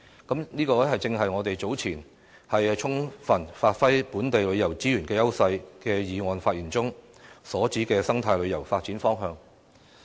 這正是我早前就"充分發揮本地旅遊資源的優勢"的議案發言中，所指的生態旅遊發展方向。